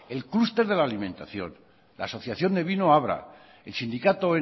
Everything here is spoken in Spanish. el clúster de la alimentación la asociación de vino abra el sindicato